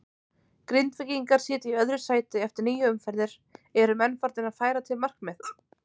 Grindvíkingar sitja í öðru sæti eftir níu umferðir, eru menn farnir að færa til markmið?